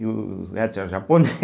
E os héteros japone